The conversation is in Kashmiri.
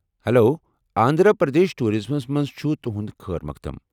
ہٮ۪لو، آنٛدھرا پردیش ٹوُراِزمس منٛز چھ تہنٛد خٲر مقدم ۔